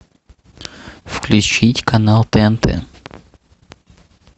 включить канал тнт